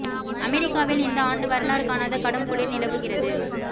அமெரிக்காவில் இந்த ஆண்டு வரலாறு காணாத கடும் குளிர் நிலவுகிறது